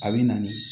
A bɛ na nii